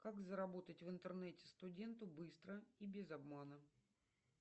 как заработать в интернете студенту быстро и без обмана